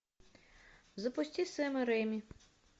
запусти сэма рейми